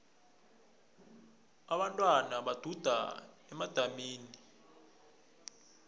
abentwana baduda edamini elinenyoka